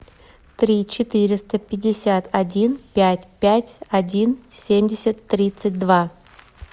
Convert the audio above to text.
три четыреста пятьдесят один пять пять один семьдесят тридцать два